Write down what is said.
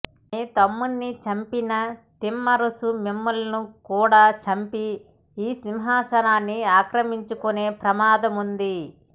మీ తమ్మున్ని చంపిన తిమ్మరుసు మిమ్ములను కూడా చంపి ఈ సిమ్హాసనాన్ని ఆక్రమించుకునే ప్రమాదముంది